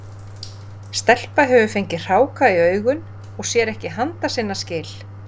Stelpa hefur fengið hráka í augun og sér ekki handa sinna skil.